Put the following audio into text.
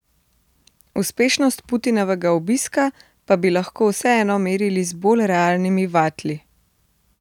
Uspešnost Putinovega obiska pa bi lahko vseeno merili z bolj realnimi vatli.